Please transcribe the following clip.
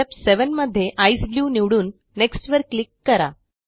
step 7 मध्ये ECE blue निवडून next वर क्लिक करा